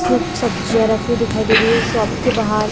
सिर्फ सब्जिया रखी हुई दिखाई दे रही है शॉप के बाहर--